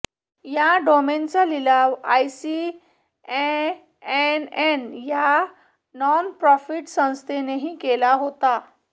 या डोमेनचा लिलाव आयसीएएनएन या नॉनप्रॉफिट संस्थेनेही केला होता